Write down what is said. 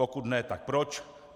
Pokud ne, tak proč?